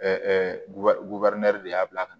de y'a bila ka na